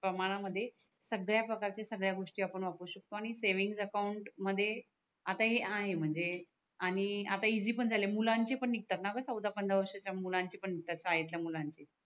प्रमाणा मध्ये संगड्या प्रकारच्या संगड्या गोष्टी आपण वापरू शकतो आणि सेव्हिंग अकाउंट मध्ये आता हे आहे म्हणजे आणि आता हे इजी पण झाले मुलांचे पण निगतात णा ग चौदा पंधरा वर्षाचे मुलांचे पण निगतात शाळेच्या मुलांचे